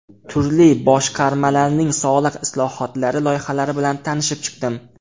Turli boshqarmalarning soliq islohotlari loyihalari bilan tanishib chiqdim.